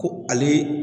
Ko ale